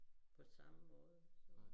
På samme måde